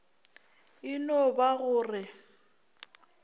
e no ba go re